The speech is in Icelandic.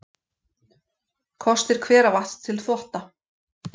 Kostir hveravatns til þvotta